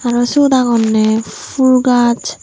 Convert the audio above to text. aro siyot agonney ful gaj.